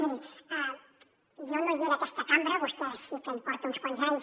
miri jo no hi era a aquesta cambra vostè sí que hi porta uns quants anys